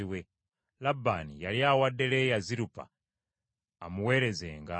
Labbaani yali awadde Leeya Zirupa amuweerezenga.